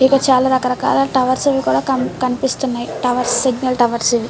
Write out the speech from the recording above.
మీకు చాల చాల టవర్స్ కూడాకనిపిస్తున్నాయి టవర్స్ సింగల్ టవర్స్ ఇవీ.